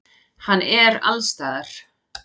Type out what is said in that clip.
Hann er allsstaðar.